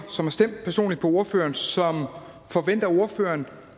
som har stemt personligt på ordføreren som forventer at ordføreren